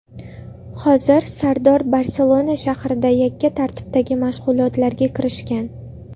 Hozir Sardor Barselona shahrida yakka tartibdagi mashg‘ulotlarga kirishgan.